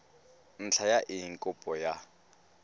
ntlha ya eng kopo ya